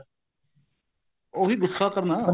ਉਹੀ ਗੁੱਸਾ ਕਰਨਾ